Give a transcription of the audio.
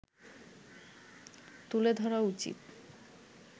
তুলে ধরা উচিত